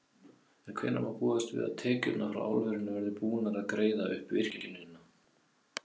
En hvenær má búast við að tekjurnar frá álverinu verði búnar að greiða upp virkjunina?